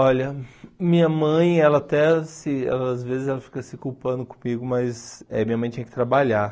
Olha, minha mãe, ela até se, às vezes, ela fica se culpando comigo, mas eh minha mãe tinha que trabalhar.